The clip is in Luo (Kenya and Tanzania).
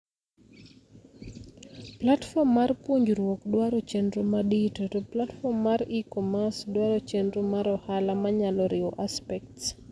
Platform mar puonjruok dwaro chendro madito, to platform mar e-commerce dwaro chendro mar ohala manyalo riwo aspects.